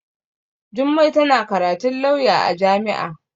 Jummai tana karatun lauya a jami'a.